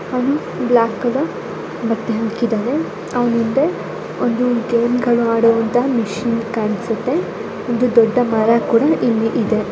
ಅವ್ನು black colour ಬಟ್ಟೆ ಹಾಕಿದಾರೆ ಅವ್ನ್ ಹಿಂದೆ ಒಂದು ಗೇಮ್ಗಳು ಆಡುವಂತ ಮಷೀನ್ ಕಾಣ್ಸುತ್ತೆ ಒಂದು ದೊಡ್ಡ ಮರ ಕೂಡ ಇಲ್ಲಿಇದೆ.